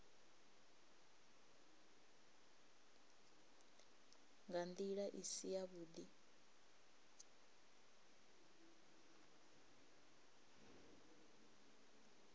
nga ndila i si yavhudi